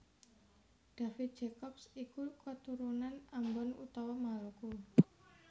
David Jacobs iku katurunan Ambon utawa Maluku